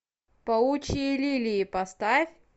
паучьи лилии поставь